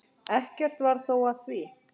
Ekkert varð þó af því.